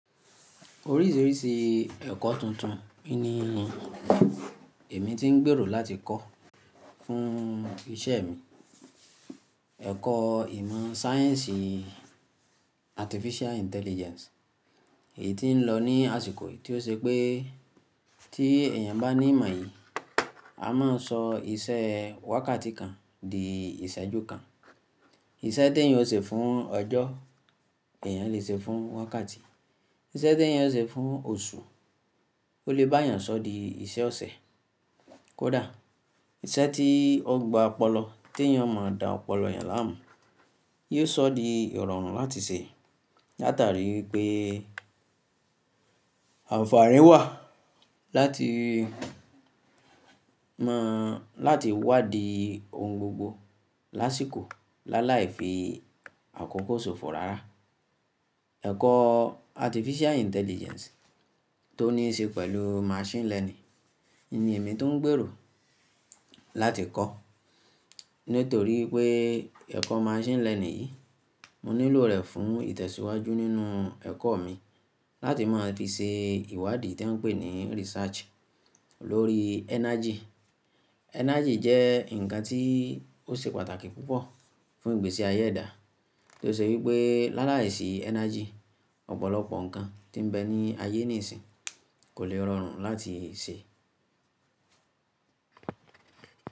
Oríṣìíríṣìí ẹ̀kọ́ tuntun ni èmi tí ń gbèrò láti kọ́ fún ìṣe mi. Ẹ̀kọ́ ìmọ̀ sáyẹ́ǹsì artificial intelligence, èyí tí ń lọ ní àsìkò yìí tí ó ṣe pé tí èèyàn bá ní ìmọ̀ yìí, a máa sọ iṣẹ́ wákàtí kan di ìṣẹ́jú kan. Iṣẹ́ tí èèyàn ò ṣe fún ọjọ́, èèyàn lè ṣe fún wákàtí. Iṣẹ́ tí èèyàn ò ṣe fún oṣù, ó lè bá èèyàn sọ di iṣẹ́ ọ̀sẹ̀. Kódà iṣẹ́ tí ọgbà ọpọlọ tí èèyàn máa dà ọpọlọ èèyàn láàmú, yóò sọ di ìrọ̀rùn láti ṣe látàrí wípé àǹfààní wà láti mọ̀ láti wádìí ohun gbogbo lásìkò láláì fi àkókò ṣòfò rárá. Ẹ̀kọ́ artificial intelligence tó ní í ṣe pẹ̀lú machine learning ni èmi tún ń gbèrò láti kọ́. Nítorí pé ẹ̀kọ́ machine learning yìí, mo nílò rẹ̀ fún ìtẹ̀síwájú nínú ẹ̀kọ́ mi láti máa fi ṣe ìwádìí tí wọ́n ń pè ní research lórí energy. Energy jẹ́ ǹkan tí ó ṣe pàtàkì púpọ̀ fún ìgbésí ayé ẹ̀dá tí ó ṣe wípé láláìsí energy ọ̀pọ̀lọpọ̀ ǹkan tí ń bẹ ní ayé nísìń kò lè rọrùn láti ṣe.